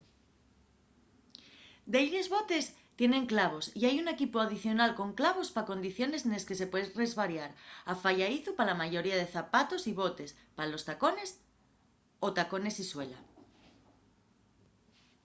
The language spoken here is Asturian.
delles botes tienen clavos y hai un equipu adicional con clavos pa condiciones nes que se pue resbariar afayadizu pa la mayoría de zapatos y botes pa los tacones o tacones y suela